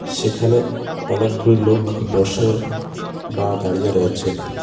সেখানে অনেকগুলি লোক বসে বা দাঁড়িয়ে রয়েছেন .